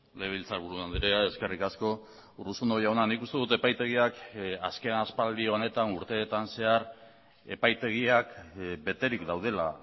legebiltzarburu andrea eskerrik asko urruzuno jauna nik uste dut epaitegiak azken aspaldi honetan urteetan zehar epaitegiak beterik daudela